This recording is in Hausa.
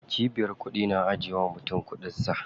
Cibiyar kuɗi na ajiye wa mutum kuɗin sa.